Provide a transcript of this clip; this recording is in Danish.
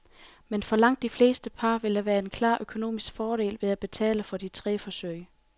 Men for langt de fleste par vil der være en klar økonomisk fordel ved at betale for de tre forsøg.